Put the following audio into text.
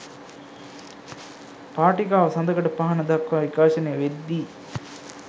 පාටිකාව සඳකඩ පහණ දක්වා විකාශනය වෙද්දී